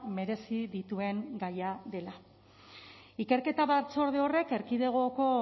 merezi dituen gaia dela ikerketa batzorde horrek erkidegoko